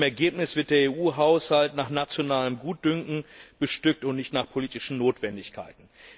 Im Ergebnis wird der EU Haushalt nach nationalem Gutdünken bestückt und nicht nach politischen Notwendigkeiten.